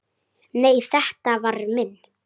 Nei, þetta var minn